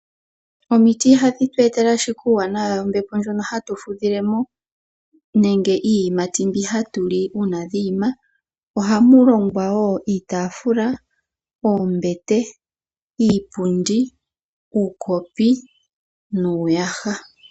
Omiti ihadhi tu etele ashike uuwanawa wombepo ndjono hatu fudhilemo nenge iiyimati mbi hatu li uuna dha ima, ohamu longwa woo iitaafula, oombete, iipundi, uukopi nuuyaha.